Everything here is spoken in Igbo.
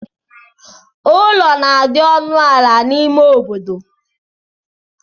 Ụlọ na-adi ọnụ ala n'ime obodo.